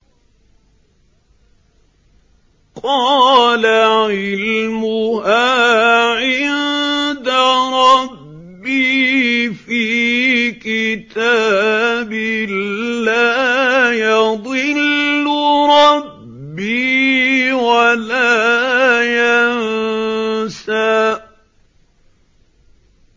قَالَ عِلْمُهَا عِندَ رَبِّي فِي كِتَابٍ ۖ لَّا يَضِلُّ رَبِّي وَلَا يَنسَى